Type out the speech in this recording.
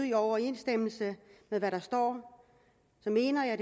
i overensstemmelse med hvad der står så mener jeg